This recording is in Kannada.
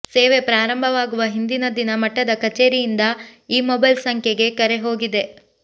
ಸೇವೆ ಪ್ರಾರಂಭವಾಗುವ ಹಿಂದಿನ ದಿನ ಮಠದ ಕಚೇರಿಯಿಂದ ಈ ಮೊಬೈಲ್ ಸಂಖ್ಯೆಗೆ ಕರೆ ಹೋಗಿದೆ